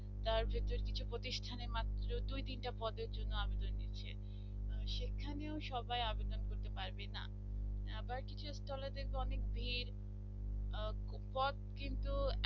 তার ভেতর কিছু প্রতিষ্ঠানের মাত্র দুই তিনটা পদে জন্য আবেদন করছে সেখানেও সবাই আবেদন করতে পারবে না আবার কিছু stall এ দেখবো অনেক ভিড় আহ পথ কিন্তু